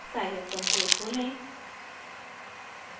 scilab console खोलें